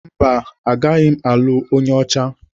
Mba, agaghị m alụ onye ọcha.